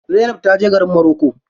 Zainab ta je garin moroko.